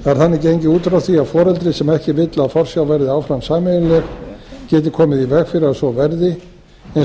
það er þannig gengið út frá því að foreldri sem ekki vill að forsjá verði áfram sameiginleg geti komið í veg fyrir að svo verði eins og